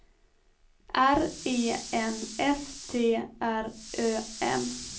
R E N S T R Ö M